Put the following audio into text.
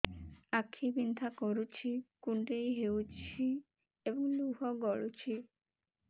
ଆଖି ବିନ୍ଧା କରୁଛି କୁଣ୍ଡେଇ ହେଉଛି ଏବଂ ଲୁହ ଗଳୁଛି